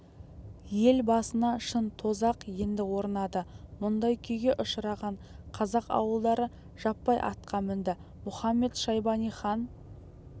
ел басына шын тозақ енді орнады мұндай күйге ұшыраған қазақ ауылдары жаппай атқа мінді мұхамед-шайбани хан